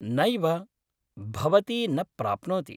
नैव, भवती न प्राप्नोति।